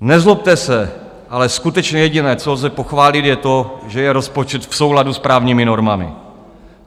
Nezlobte se, ale skutečně jediné, co lze pochválit, je to, že je rozpočet v souladu s právními normami.